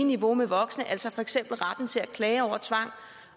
niveau med voksne altså for eksempel retten til at klage over tvang